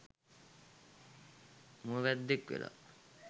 මුව වැද්දෙක් වෙලා